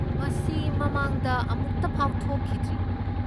ꯃꯁꯤ ꯃꯃꯥꯡꯗ ꯑꯃꯨꯛꯇꯐꯥꯎ ꯊꯣꯛꯈꯤꯗ꯭ꯔꯤ꯫